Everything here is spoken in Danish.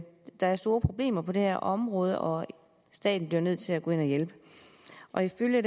der er store problemer på det her område og at staten bliver nødt til at gå ind og hjælpe og ifølge